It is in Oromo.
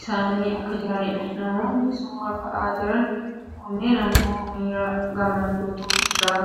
isaanii akka jiraniidha. Namoonni suuraa ka'aa jiran kunniin immoo miiraa gammachuutu irraa mul'ata.